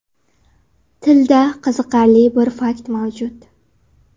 Tilda qiziqarli bir fakt mavjud.